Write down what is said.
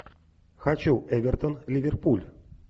хочу эвертон ливерпуль